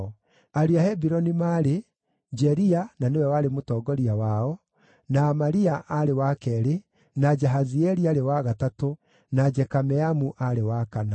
Ariũ a Hebironi maarĩ: Jeria na nĩwe warĩ mũtongoria wao, na Amaria aarĩ wa keerĩ, na Jahazieli aarĩ wa gatatũ, na Jekameamu aarĩ wa kana.